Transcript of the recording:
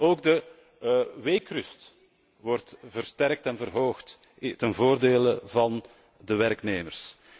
Ook de weekrust wordt versterkt en verhoogd ten voordele van de werknemers.